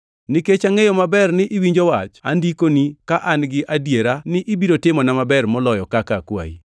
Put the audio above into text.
Nikech angʼeyo maber ni iwinjo wach, andikoni ka an gi adiera ni ibiro timona maber moloyo kaka akwayi.